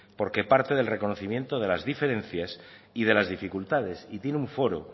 porque parte del reconocimiento de la diferencias y de las dificultades y tiene un foro